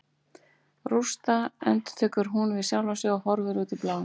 Rústa, endurtekur hún við sjálfa sig og horfir út í bláinn.